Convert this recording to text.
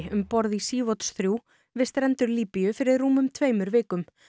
um borð í Sea Watch þrjú við strendur Líbíu fyrir rúmum tveimur vikum